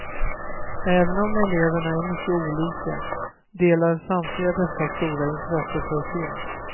Även om eleverna är mycket olika, delar samtliga detta stora intresse för film.